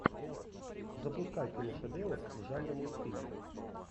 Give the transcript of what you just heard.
запускай киношедевр в жанре мультфильм